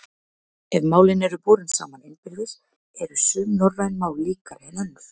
Ef málin eru borin saman innbyrðis eru sum norræn mál líkari en önnur.